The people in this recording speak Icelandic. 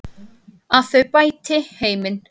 Að þau bæti heiminn.